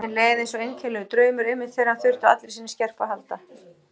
Tíminn leið eins einkennilegur draumur, einmitt þegar hann þurfti á allri sinni skerpu að halda.